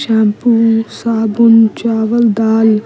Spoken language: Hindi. शैंपू साबुन चावल दाल।